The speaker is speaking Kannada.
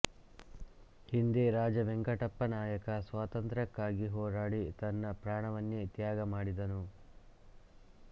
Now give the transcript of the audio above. ಹಿಂದೆ ರಾಜವೆಂಕಟಪ್ಪನಾಯಕ ಸಾತಂತ್ರ್ಯಕ್ಕಾಗಿ ಹೋರಾಡಿ ತನ್ನ ಪ್ರಾಣವನ್ನೆ ತ್ಯಾಗ ಮಾಡಿದನು